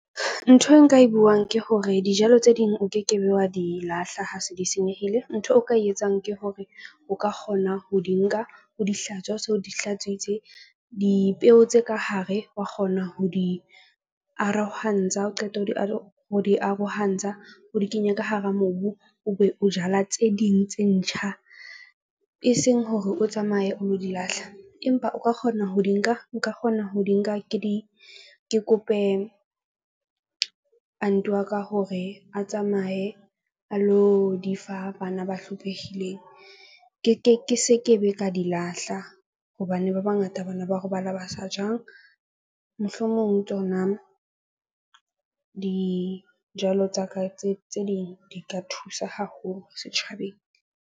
Ntho e nka e buang ke hore dijalo tse ding o ke ke be, wa di lahla ha se di senyehile. Ntho eo o ka e etsang ke hore o ka kgona ho di nka o di hlatswe ha o so di hlatswitse dipeo tse ka hare wa kgona ho di arohantsha. Ha o qeta ho di arohantsha, o di kenye ka hara mobu, o be o jala tse ding tse ntjha e seng hore o tsamaye o lo di lahla. Empa o ka kgona ho di nka nka kgona ho di nka ke di ke kope aunt wa ka hore a tsamaye a lo di fa bana ba hlophehileng. Ke ke ke se ke be ka di lahla. Hobane ba bangata bana ba robala ba sa jang mohlomong tsona dijalo tsa ka tse ding di ka thusa haholo setjhabeng.